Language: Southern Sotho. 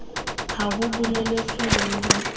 ha ho boletswe le ho